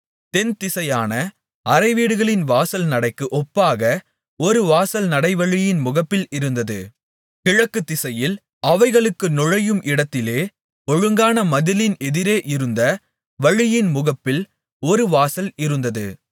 தென்திசையான அறைவீடுகளின் வாசல் நடைக்கு ஒப்பாக ஒரு வாசல் நடைவழியின் முகப்பில் இருந்தது கிழக்கு திசையில் அவைகளுக்குப் நுழையும் இடத்திலே ஒழுங்கான மதிலின் எதிரே இருந்த வழியின் முகப்பில் ஒரு வாசல் இருந்தது